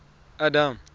adam